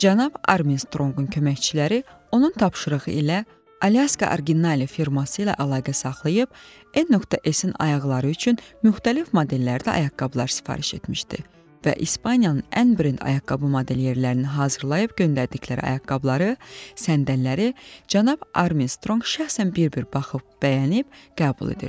Cənab Armstrongun köməkçiləri onun tapşırığı ilə Alyaska Originale firması ilə əlaqə saxlayıb n.s-in ayaqları üçün müxtəlif modellərdə ayaqqabılar sifariş etmişdi və İspaniyanın ən brend ayaqqabı modelliyerlərini hazırlayıb göndərdikləri ayaqqabıları, səndəlləri cənab Armstrong şəxsən bir-bir baxıb, bəyənib qəbul edirdi.